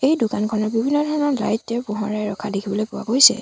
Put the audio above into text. এই দোকানখনত বিভিন্ন ধৰণৰ লাইটেৰে পোহৰাই ৰখা দেখিবলৈ পোৱা গৈছে।